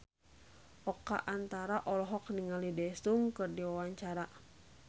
Oka Antara olohok ningali Daesung keur diwawancara